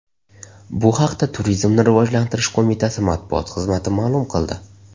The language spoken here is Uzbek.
Bu haqda Turizmni rivojlantirish qo‘mitasi matbuot xizmati ma’lum qildi .